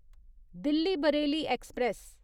Delhi Bareilly express